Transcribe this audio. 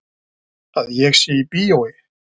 Að ég sé í bíói.